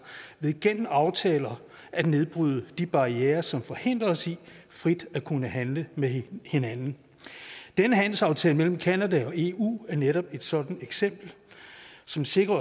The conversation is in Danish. ved gennem aftaler at nedbryde de barrierer som forhindrer os i frit at kunne handle med hinanden den handelsaftale mellem canada og eu er netop et sådant eksempel som sikrer